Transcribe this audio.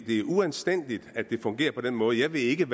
er uanstændigt at det fungerer på den måde jeg ved ikke